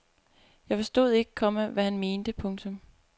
Jeg forstod ikke, komma hvad han mente. punktum